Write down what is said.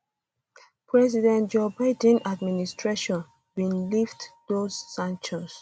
president joe biden administration bin lift those um sanctions